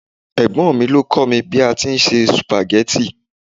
Ẹ̀gbọ́n mi ló kọ́ mi bí a ti ń se sùpàgẹ́tì